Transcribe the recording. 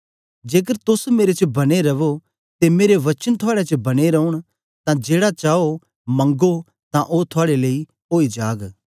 जेकर तोस मेरे च बने रवो ते मेरे वचन थुआड़े च बने रौन तां जेड़ा चाओ मंगो तां ओ थुआड़े लेईं ओई जाग